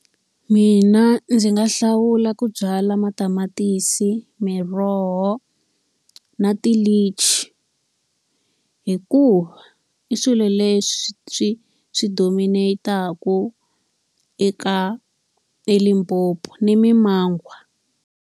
Mina ndzi nga hlawula ku byala matamatisi, miroho na tilichi. Hikuva i swilo leswi swi swi dominate-aka eka eLimpopo. Ni mimangwa.